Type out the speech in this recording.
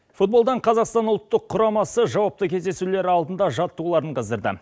футболдан қазақстан ұлттық құрамасы жауапты кездесулер алдында жаттығуларын қыздырды